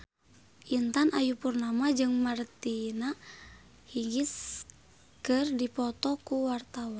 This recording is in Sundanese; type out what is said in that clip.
Intan Ayu Purnama jeung Martina Hingis keur dipoto ku wartawan